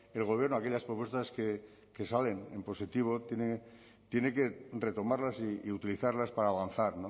el gobierno aquellas propuestas que salen en positivo tienen que retomarlas y utilizarlas para avanzar